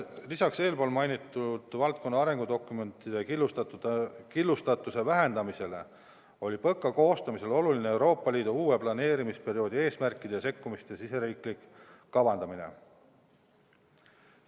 Lisaks eespool mainitud valdkonna arengudokumentide killustatuse vähendamisele oli PõKa koostamisel oluline Euroopa Liidu uue planeerimisperioodi eesmärkide ja sekkumiste riigisisene kavandamine.